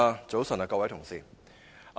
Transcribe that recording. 早晨，各位同事。